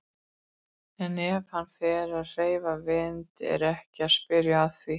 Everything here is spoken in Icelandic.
En ef hann fer að hreyfa vind er ekki að spyrja að því.